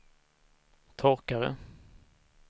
torkare